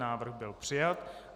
Návrh byl přijat.